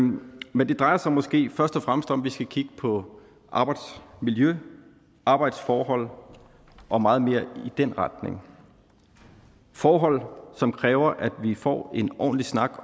men det drejer sig måske i første omgang vi skal kigge på arbejdsmiljøet arbejdsforhold og meget mere i den retning forhold som kræver at vi får en ordentlig snak